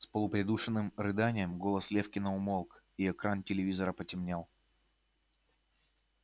с полупридушенным рыданием голос лефкина умолк и экран телевизора потемнел